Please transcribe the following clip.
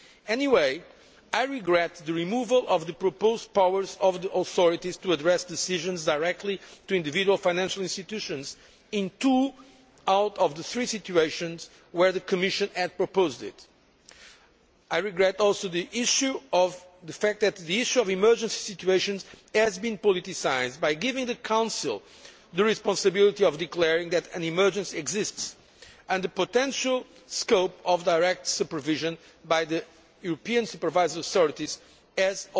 Anyway, I regret the removal of the proposed powers of the authorities to address decisions directly to individual financial institutions in two out of the three situations where the Commission had proposed it. I regret the fact that the issue of emergency situations has been politicised by giving the Council the responsibility of declaring that an emergency exists, and I also regret that the potential scope of direct supervision by the European supervisory authorities has